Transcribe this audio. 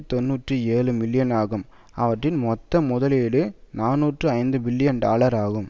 தொன்னூற்றி ஏழு மில்லியன் ஆகும் அவற்றின் மொத்த முதலீடு நாநூற்று ஐந்து பில்லியன் டாலர் ஆகும்